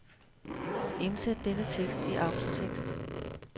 Indsæt denne tekst i autotekst.